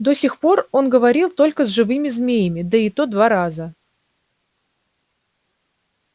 до сих пор он говорил только с живыми змеями да и то два раза